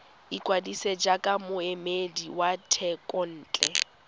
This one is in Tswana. ikwadisa jaaka moemedi wa thekontle